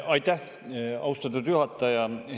Aitäh, austatud juhataja!